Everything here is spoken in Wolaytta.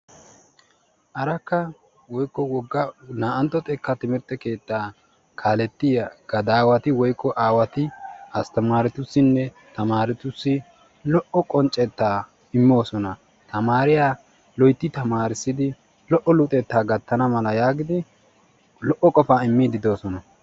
arakka woyikko wogga naa"antto xekkaa timirtte keettaa kaalettiyaa gadaawati woyikko aawati asttamaaretussinne tamaaretussi lo"o qonccettaa immoosona. tamaariyaa loyitti tammarissidi lo"o luxettaa gattana malaa yaagidi lo"o qofaa immiiddi doosona.